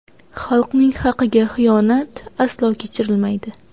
Xalqning haqiga xiyonat aslo kechirilmaydi.